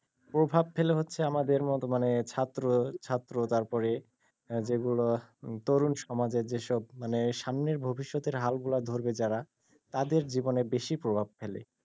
প্রভাব ফেলে হচ্ছে আমাদের মতো মানে ছাত্র, ছাত্র তারপরে যেগুলো তরুন সমাজের যেসব মানে সামনে ভবিষ্যৎের হাল গুলো ধরবে যারা তাদের জীবনে বেশি প্রভাব ফেলে।